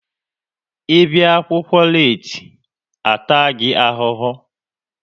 Ị bịa akwụkwọ leeti, a taa gị ahụhụ!